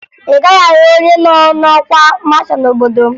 Ị gaghị ahụ onye nọ n'ọkwa masha n'obodo m